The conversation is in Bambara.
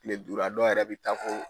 kile duuru a dɔw yɛrɛ bi taa fo